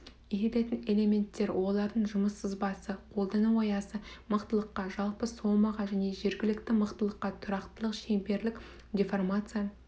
иілетін элементтер олардың жұмыс сызбасы қолдану аясы мықтылыққа жалпы сомаға және жергілікті мықтылыққа тұрақтылық шеңберлік деформация